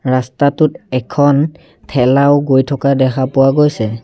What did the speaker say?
ৰাস্তাটোত এখন ঠেলাও গৈ থকা দেখা পোৱা গৈছে।